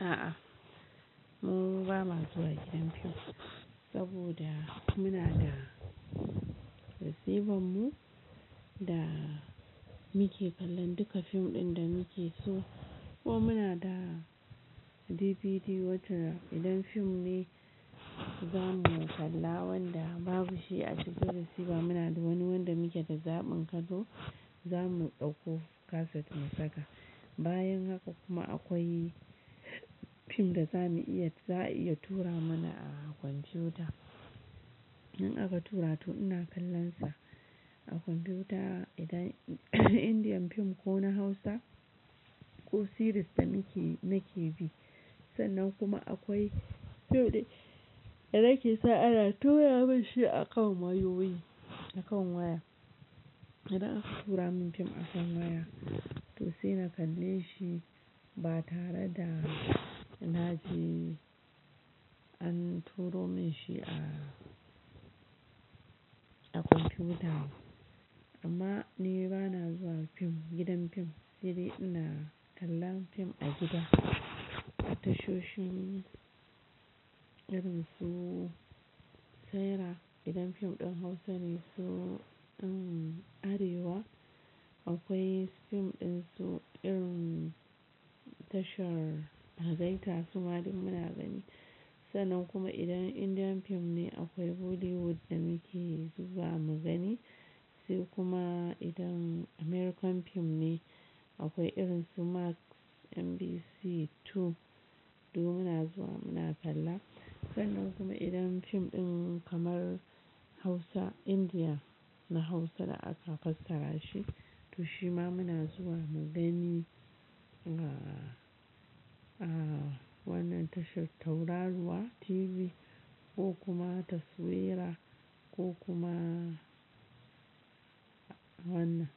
A'a, mun ba ma zuwa gidan fim saboda muna da receiver mu da muke kallon duka fim ɗin da muke so ko muna da DVD wacce idan fim ne za mu kalla wanda babu shi a cikin receiver, muna da wani wanda muke da zaɓin kaɗo, za mu ɗauko kaset mu saka. Bayan haka kuma akwai fim da za mu iya, za a iya tura mana a computa. In aka tura to ina kallonsa a computa idan Indian fim ko na Hausa ko series ta nake nake bi. Sannan kuma akwai fim da nake sa ana tura mun shi a kan wayoyi, a kan waya. Idan aka tura min fim a kan waya, to sai na kalle shi ba tare da na je an turo min shi a, a computa. Amma ni ba na zuwa fim, gidan fim, sai dai ina kallon fim a gida, a tashoshin irin su Saira. Idan fim ɗin Hausa ne su, um Arewa, akwai fim ɗin su irin tashar Harzaita su ma duk muna gani. Sannan kuma idan Indian fim ne, akwai Bollywood da muke zuwa mu gani. Sai kuma idan American fim ne, akwai irin su Max, NBC 2 duk muna zuwa muna kalla. Sannan kuma idan fim ɗin kamar Hausa, India na Hausa da aka fasara shi, to shi ma muna zuwa mu gani a, a wannan tashar tauraruwa TV ko kuma taswira ko kuma wannan.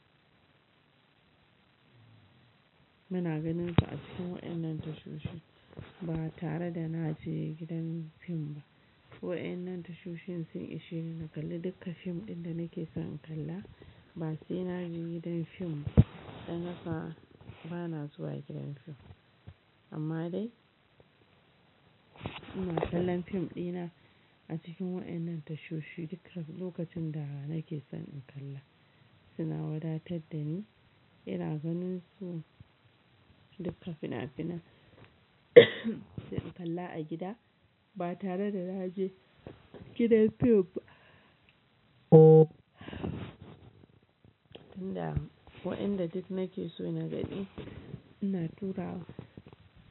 Muna ganin su a cikin waɗannan tashoshi ba tare da na je gidan fim ba. Ko a wannan tashoshin sun ishe ni na kalli duka fim ɗin da nake son in kalla ba sai na je gidan fim. Dan haka ba na zuwa gidan fim. Amma dai ina kallon fim ɗina a cikin waɗannan tashoshi duka lokacin da nake son in kalla. Suna wadatar da ni, ina ganin su duka fina-finan sai in kalla a gida ba tare da na je gidan fim ba. Tunda ko ɗan i ɗin nake so na gani, ina tura,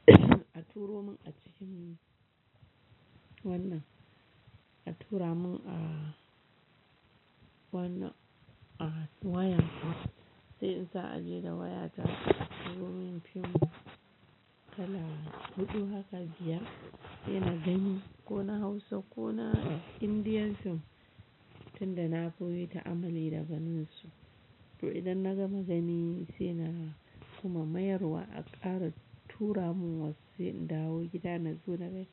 a turo mun a cikin wannan, a tura mun a wannan, a wayar mu. Sai in sa aje da waya ta a turo min fim na kalla. Huɗu haka jiya, sai na gani ko na Hausa ko na Indian fim tunda na koyeta amali da ganin su. To idan na gama gani sai na kuma mayar wa a ƙara tura mun wasu, sai in dawo gida na zo da dai.